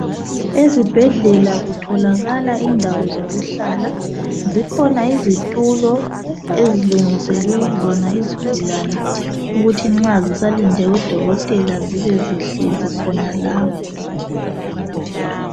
Ezibhedlela kutholakala indawo zokuhlala zikhona izitulo ezilungiselwe zona izigulane ukuthi nxa zisalinde udokotela zibe zihlezi khona la.